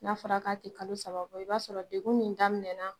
N'a fɔra k'a ti kalo saba bɔ i b'a sɔrɔ degun min daminɛna